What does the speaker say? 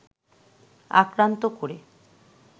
আক্রান্ত করে